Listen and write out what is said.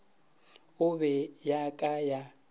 e be ya ka ya